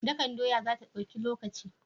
Dakan doya zata dauki lokaci?